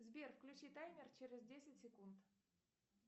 сбер включи таймер через десять секунд